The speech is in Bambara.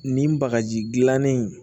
Nin bagaji gilannen